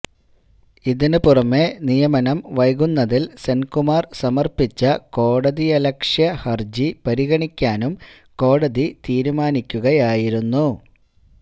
ഇതിനുപുറമേ നിയമനം വൈകുന്നതിൽ സെൻകുമാർ സമർപ്പിച്ച കോടതിയലക്ഷ്യ ഹർജി പരിഗണിക്കാനും കോടതി തീരുമാനിക്കുകയായിരുന്നു